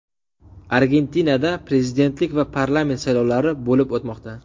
Argentinada prezidentlik va parlament saylovlari bo‘lib o‘tmoqda .